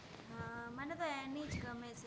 હા મને તો અની જ ગમે